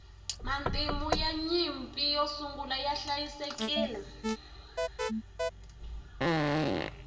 matimu ya nyimpi yo sungula ya hliayisekile